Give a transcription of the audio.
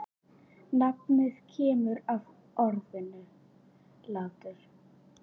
Nafnið kemur af orðinu látur.